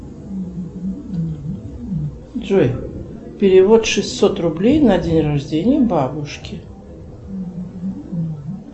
джой перевод шестьсот рублей на день рождения бабушке